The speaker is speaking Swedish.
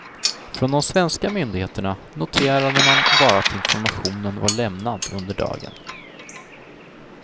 Från de svenska myndigheterna noterade man bara att informationen var lämnad under dagen.